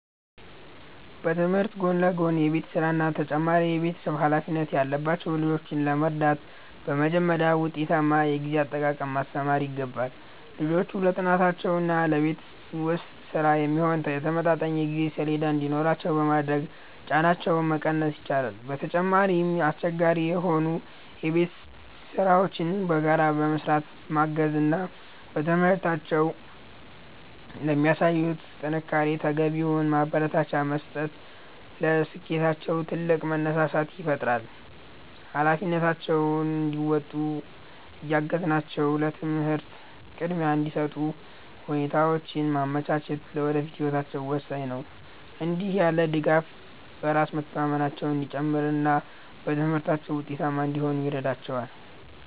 በትምህርት ጎን ለጎን የቤት ሥራና ተጨማሪ የቤተሰብ ኃላፊነት ያለባቸውን ልጆች ለመርዳት በመጀመሪያ ውጤታማ የጊዜ አጠቃቀምን ማስተማር ይገባል። ልጆቹ ለጥናታቸውና ለቤት ውስጥ ሥራ የሚሆን የተመጣጠነ የጊዜ ሰሌዳ እንዲኖራቸው በማድረግ ጫናቸውን መቀነስ ይቻላል። በተጨማሪም፣ አስቸጋሪ የሆኑ የቤት ሥራዎችን በጋራ በመሥራት ማገዝ እና በትምህርታቸው ለሚያሳዩት ጥንካሬ ተገቢውን ማበረታቻ መስጠት ለስኬታቸው ትልቅ መነሳሳት ይፈጥራል። ኃላፊነታቸውን እንዲወጡ እያገዝናቸው ለትምህርት ቅድሚያ እንዲሰጡ ሁኔታዎችን ማመቻቸት ለወደፊት ህይወታቸው ወሳኝ ነው። እንዲህ ያለው ድጋፍ በራስ መተማመናቸው እንዲጨምርና በትምህርታቸው ውጤታማ እንዲሆኑ ይረዳቸዋል።